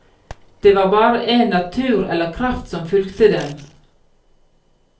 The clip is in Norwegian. Det var bare en natur eller kraft som fulgte dem.